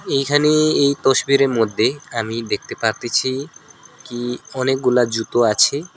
এইখানে এই তসবিরের মধ্যে আমি দেখতে পারতেছি কি অনেকগুলা জুতো আছে।